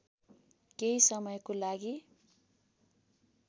केही समयको लागि